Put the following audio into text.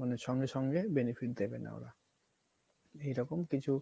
মানে সঙ্গে সঙ্গে benefit দিবে না ওরা। এইরকম কিছু